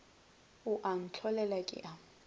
o a ntlholela ke a